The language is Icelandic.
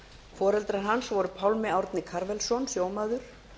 foreldrar hans voru pálmi árni karvelsson sjómaður